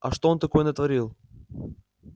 а что он такое натворил